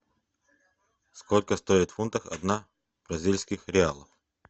сколько стоит в фунтах одна бразильских реалов